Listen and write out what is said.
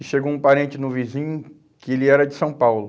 E chegou um parente no vizinho, que ele era de São Paulo.